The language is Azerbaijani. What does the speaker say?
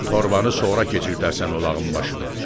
Torbanı sonra keçirdərsən ulağın başına.